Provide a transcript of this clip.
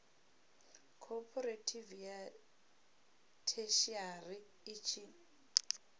khophorethivi ya theshiari i tshi